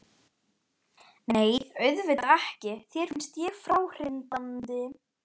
Nei, auðvitað ekki, þér finnst ég fráhrindandi.